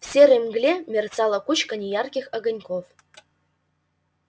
в серой мгле мерцала кучка неярких огоньков